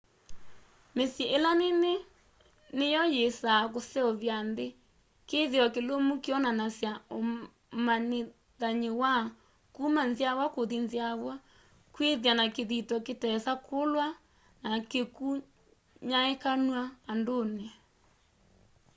mĩsyĩ ĩla mĩnene nĩyo yĩsaa kũseũvya nthĩ kĩthĩo kĩlũmũ kĩonanasya ũmanĩthanyĩ wa kũma nzyawa kũthĩ nzyawa kwĩthya na kĩthĩo kĩtesa kũlwa na kĩkũnyaĩkanw'a andũnĩ